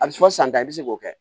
A bɛ fɔ san ta i bɛ se k'o kɛ